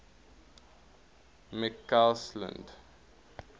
mccausland